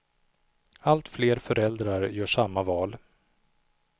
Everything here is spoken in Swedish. Allt fler föräldrar gör samma val.